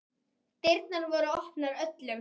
Dyrnar voru opnar öllum.